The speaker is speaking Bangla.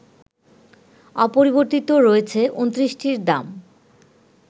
অপরিবর্তিত রয়েছে ২৯টির দাম